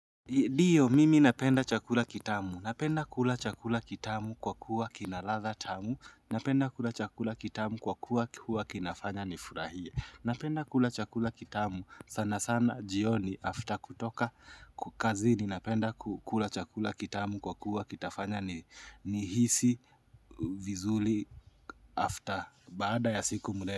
Ndio, mimi napenda chakula kitamu. Napenda kula chakula kitamu kwa kuwa kina ladha tamu. Napenda kula chakula kitamu kwa kuwa kinafanya ni furahie. Napenda kula chakula kitamu sana sana jioni after kutoka kazi ni napenda kula chakula kitamu kwa kuwa kitafanya ni hisi vizuli after baada ya siku mrefu.